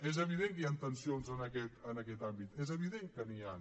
és evident que hi han tensions en aquest àmbit és evident que n’hi han